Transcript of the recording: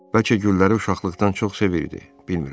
Bəlkə gülləri uşaqlıqdan çox sevirdi, bilmirəm.